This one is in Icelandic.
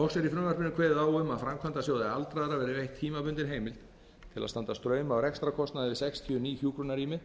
loks er í frumvarpinu kveðið á um að framkvæmdasjóði aldraðra verði veitt tímabundin heimild til að standa straum af rekstrarkostnaði við sextíu ný hjúkrunarrými